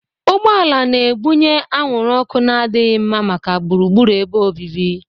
Ụgbọ ala na-ebunye anwụrụ ọkụ na-adịghị mma maka gburugburu ebe obibi.